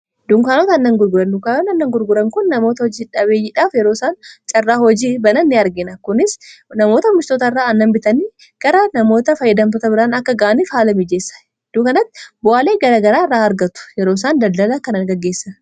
duunkaanoota annan gurguranlukaayoon annan gurguran kun namoota hojii dhabeeyyidhaaf yeroo isaan carraa hojii banan ni argina kunis namoota oomishtoota irraa annan bitanii gara namoota fayyidamtoota biraan akka ga'aniif haala mijeessa duukanatti bu'aalee garagaraa irraa argatu yeroo isaan daldala kanagaggeessa